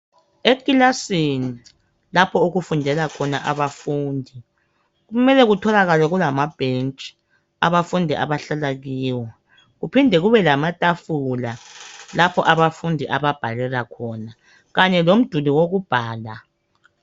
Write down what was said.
Ekilasini lapho okufundela khona abafundi kumele kutholakale kulamabhentshi abafundi abahlala kiwo, kuphinde kube lamatafula lapho abafundi ababhalela khona kanye lomduli wokubhala.